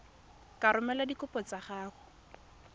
ka romela dikopo tsa gago